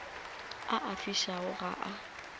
a a fišago ga a